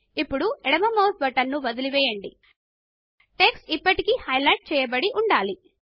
ఇప్పుడు ఎడమ mouse button ను వదలి పెట్టండిటెక్స్ట్ ఇప్పటికీ హైలైట్ చేయబడి ఉండాలి